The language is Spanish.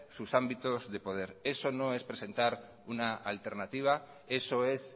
sus ámbitos de poder eso no es presentar una alternativa eso es